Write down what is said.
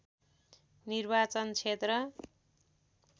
निर्वाचन क्षेत्र